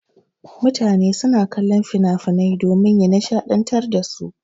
Mutane suna kallon finafinan domin ya nishaɗantar dasu.